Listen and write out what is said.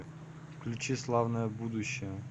включи славное будущее